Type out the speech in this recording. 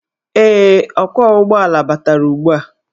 Ee, ọkwọụgbọala batara ugbua.